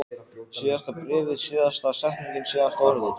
Síðasta bréfið, síðasta setningin, síðasta orðið.